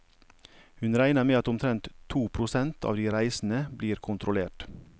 Hun regner med at omtrent to prosent av de reisende blir kontrollert.